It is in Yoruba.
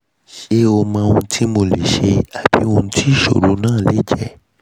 ṣe ẹ mọ ohun tí mo lè ṣe ṣe àbí ohun tí ìṣòro náà lè jẹ́?